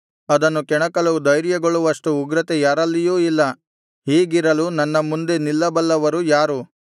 ಅದನ್ನು ಕೆಣಕಲು ಧೈರ್ಯಗೊಳ್ಳುವಷ್ಟು ಉಗ್ರತೆ ಯಾರಲ್ಲಿಯೂ ಇಲ್ಲ ಹೀಗಿರಲು ನನ್ನ ಮುಂದೆ ನಿಲ್ಲಬಲ್ಲವರು ಯಾರು